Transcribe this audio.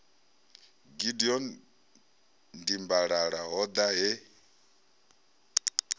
gideon dimbalala ho ḓa he